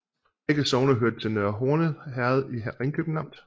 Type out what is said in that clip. Begge sogne hørte til Nørre Horne Herred i Ringkøbing Amt